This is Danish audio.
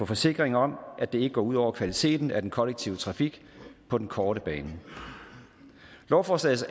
forsikring om at det ikke går ud over kvaliteten af den kollektive trafik på den korte bane lovforslagets